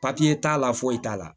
Papiye t'a la foyi t'a la